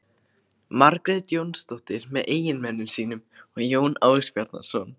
Margrét Jónsdóttir með eiginmönnum sínum og Jón Ásbjarnarson.